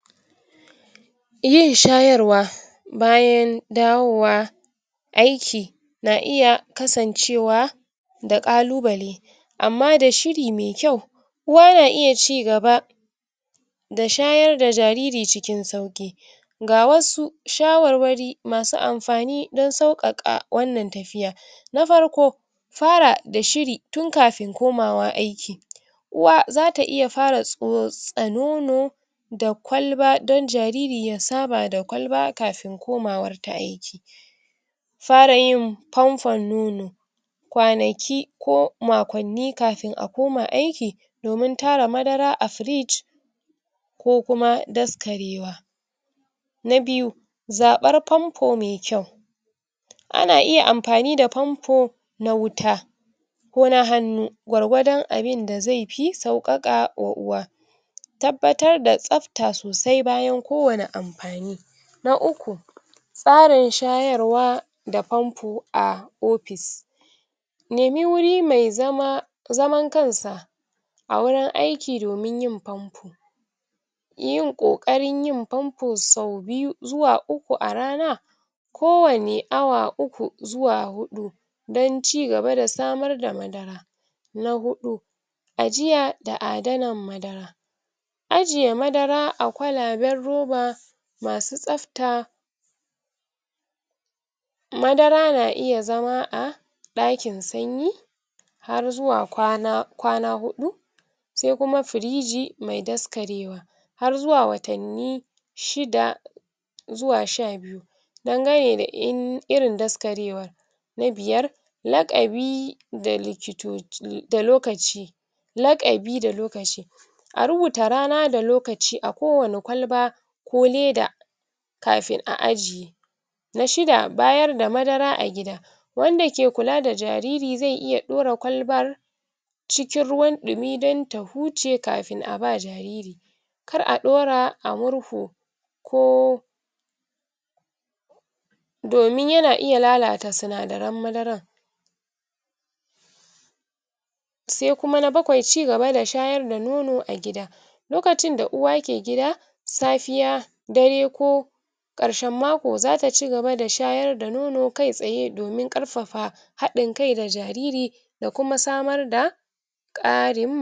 yin shayarwa bayan dawowa aiki na iya kasan cewa da ƙalubale ammada shiri mai kyau uwa na iya cigaba da shayar da jariri cikin sauki gawasu shawarwari masu anfani dan sauƙaƙa wannan tafiyar na farko fara dashiri tun kafin komawa aiki uwa zata iya fara tsotsa nono da kwalba dan jariri ya saba da kwalba kafin komawanta aiki farayin fanfan nono kwanaki ko makwanni kafin akoma aiki domin tara madara a firiji kokuma daskarewa na biyu zaɓar fanfu mai kayu ana iya anfani da fanfu na wuta ko na hanu gwargwadon abin da ai fi sauƙaƙa wa uwa tabatar da tsafta sosai bayan kowani anfani na uku tsarin shayarwa da fanfo a office nimi wuri mai zama zaman kansa a worin aiki domin yin fanso yin ƙoƙarin yin fanfo so biyu zuwa uku a rana kowani awa uku zuwa huɗu dan cigaba da samarda madara na huɗu ajiya da adanan madara ajiye madara a kwalaban roba masu tsafta madara na iya zama a ɗakin sanyi harzuwa kwana huɗu saikuma firiji mai daskarewa harzuwa watanni shida zuwa shabiyu dangane da irin daskarewan na biyar laƙabi da um lokaci laƙabi da lokaci aruuta rana da lokaci a kuwani kwalba ko leda kafin a aje na shida bayarda madara a gida wannad ki kula da jariri zai iya daura kwalbar cikin ruwa dumi danta huce kafin abawa jariri kar a daura a murhu ko domin yana iya lalata sinadaran madaran sai kuma na bakwai cigaba da shayar da nono a giga lokacin da uwa ki gida safiya dare ko ƙarshan mako zata cigaba da shayar da nono kai tsaye domin karfafa haɗinkai da jariri dakuma samarda